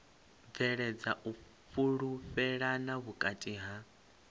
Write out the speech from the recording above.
bveledza u fhulufhelana vhukati ha